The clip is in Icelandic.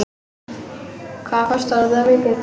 Hvað kostar þetta mikið?